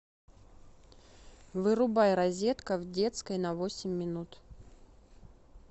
вырубай розетка в детской на восемь минут